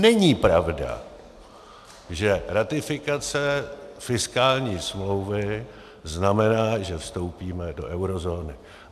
Není pravda, že ratifikace fiskální smlouvy znamená, že vstoupíme do eurozóny.